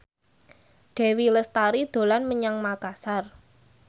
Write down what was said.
Dewi Lestari dolan menyang Makasar